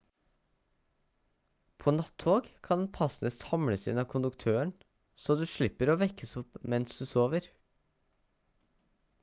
på natt-tog kan passene samles inn av konduktøren så du slipper å vekkes opp mens du sover